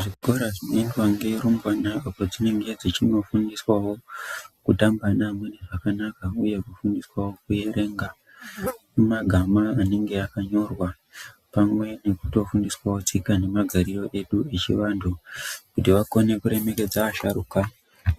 Zvikora zvinoendwa ngerumbwana apo dzinenge dzichinofundiswawo kutamba naamweni zvakanaka uye kufundiswawo kuerenga magama anenge akanyorwa, pamwe nekutofundiswawo tsika nemagariro edu echivantu, kuti vakone kuremekedza vasharuka